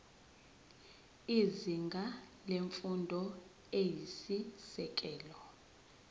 izinga lemfundo eyisisekelo